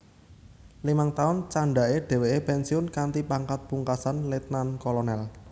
Limang taun candhake dheweke pensiun kanthi pangkat pungkasan letnan kolonel